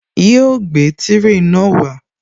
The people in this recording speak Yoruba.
Yóò gbé tírè náà wá